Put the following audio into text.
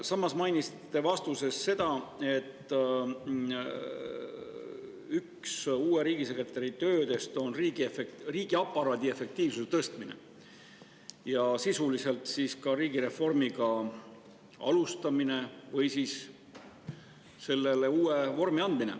Samas mainisite vastuses seda, et üks uue riigisekretäri töödest on riigiaparaadi efektiivsuse tõstmine ja sisuliselt ka riigireformi alustamine või siis sellele uue vormi andmine.